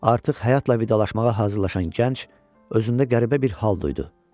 Artıq həyatla vidalaşmağa hazırlaşan gənc, özündə qəribə bir hal duydu.